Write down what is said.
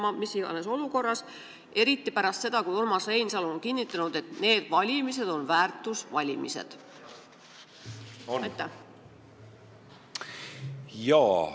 Seda mis iganes olukorras, aga eriti pärast seda, kui Urmas Reinsalu on kinnitanud, et need valimised on väärtuste valimised.